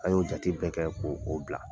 A y'o jate bɛɛ kɛ k'o o bila.